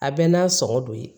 A bɛɛ n'a sɔngɔ don ye